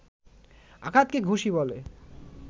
আঘাতকে ঘুষি বলে